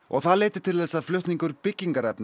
það leiddi til þess að flutningur byggingarefna